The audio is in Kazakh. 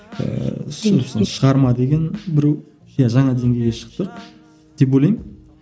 ііі шығарма деген біреу иә жаңа деңгейге шықтық деп ойлаймын